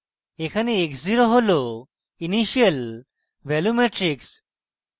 এখানে x zero হল initial value matrix